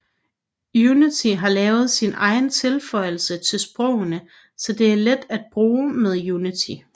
Unity har lavet sin egen tilføjelse til sprogene så det er let at bruge med Unity